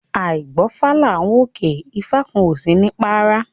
Áì gbọ́fá là ń wòkè ifá kan ò sini párá